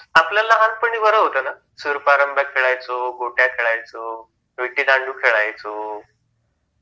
आपल्या लहानपणी बरं होत ना, सूर पारंब्या खेळायचो, गोट्या खेळायचो, विटीदांडू खेळायचो